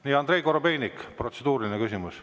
Nii, Andrei Korobeinik, protseduuriline küsimus.